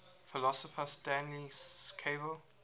philosopher stanley cavell